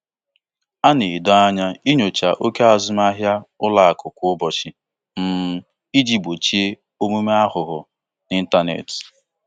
Ọtụtụ ikpokwu ịntanetị ụlọakụ na-amanye njedebe azụmahịa kwa ụbọchị maka iji gbochie mmefu ego na-enweghị ikike.